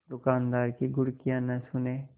दुकानदार की घुड़कियाँ न सुने